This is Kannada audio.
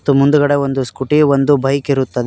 ಮತ್ತು ಮುಂದ್ಗಡೆ ಒಂದು ಸ್ಕೂಟಿ ಒಂದು ಬೈಕ್ ಇರುತ್ತದೆ.